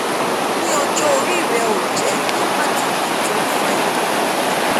ní ọjọ́ orí rẹó jẹ́ ìdí pàtàkì tó ń fa ìdààmú ọkàn